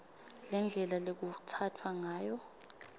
nendlela lekutsatfwa ngayo